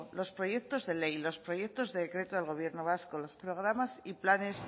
los proyectos de ley los proyectos de decreto del gobierno vasco los programas y los planes